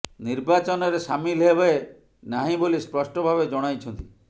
ନିର୍ବାଚନରେ ସାମିଲ ହେବେ ନାହିଁ ବୋଲି ସ୍ପଷ୍ଟ ଭାବେ ଜଣାଇଛନ୍ତି